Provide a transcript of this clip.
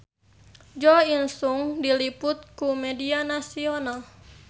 Jo In Sung diliput ku media nasional